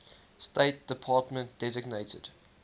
state department designated